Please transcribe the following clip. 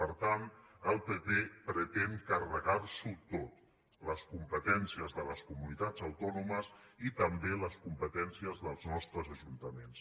per tant el pp pretén carregar s’ho tot les competències de les comunitats autònomes i també les competències dels nostres ajuntaments